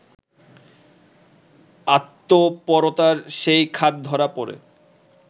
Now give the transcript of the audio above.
আত্মপরতার সেই খাদ ধরা পড়ে